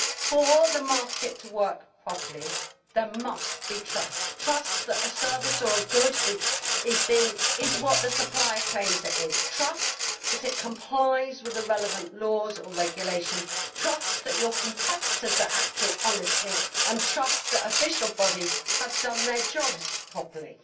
For the market to work properly there must be trust trust that a service or a good is what the supplier claims it is, trust that it complies with the relevant laws or regulations, trust that your competitors are acting honestly, and trust that official bodies have done their jobs properly.